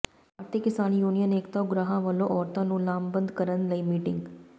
ਭਾਰਤੀ Kisan Union Ekta Ugrahan ਵੱਲੋਂ ਔਰਤਾਂ ਨੂੰ ਲਾਮਬੰਦ ਕਰਨ ਲਈ ਮੀਟਿੰਗ